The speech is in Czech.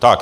Tak.